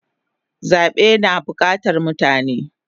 Zabe na bukatan mutane